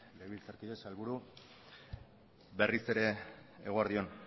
legebiltzarkide sailburu berriz ere eguerdi on